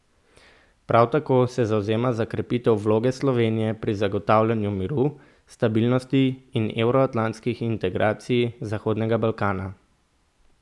Prav tako se zavzema za krepitev vloge Slovenije pri zagotavljanju miru, stabilnosti in evroatlantskih integracij Zahodnega Balkana.